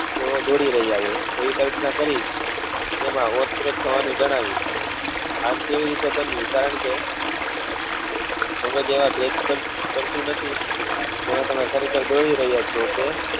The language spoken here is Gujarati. તેઓ દોડી રહ્યા હોય તેવી કલ્પના કરી તેમાં રસપ્રદ થવા નું જણાવ્યું આમ કેવી રીતે બન્યું કારણ કે મગજ એવા જેમાં તમે ખરેખર દોડી રહ્યા છો કે